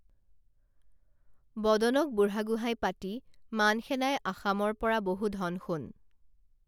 বদনক বুঢ়াগোহাঁই পাতি মান সেনাই আসামৰ পৰা বহু ধন সোণ